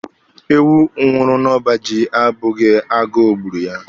Ewu nwụrụ n'ọba ji abụghị agụụ gburu ya.